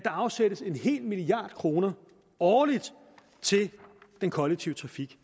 afsættes en hel milliard kroner årligt til den kollektive trafik